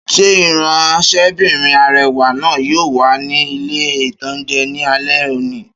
Ṣé ìránsẹ́bìnrin arẹwà náà yóò wà ní ilé-ìtánjẹ ní alé òní?